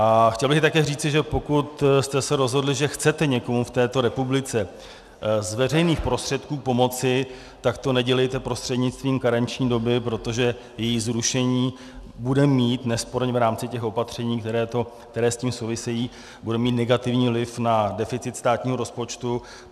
A chtěl bych také říci, že pokud jste se rozhodli, že chcete někomu v této republice z veřejných prostředků pomoci, tak to nedělejte prostřednictvím karenční doby, protože její zrušení bude mít nesporně v rámci těch opatření, která s tím souvisejí, bude mít negativní vliv na deficit státního rozpočtu.